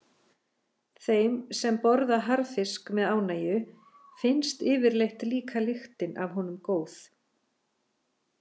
Þeim sem borða harðfisk með ánægju finnst yfirleitt líka lyktin af honum góð.